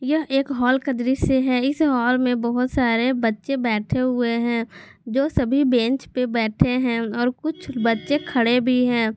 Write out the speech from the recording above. यह एक हॉल का दृश्य है इस हॉल में बहोत सारे बच्चे बैठे हुए हैं जो सभी बेंच पे बैठे हैं और कुछ बच्चे खड़े भी हैं।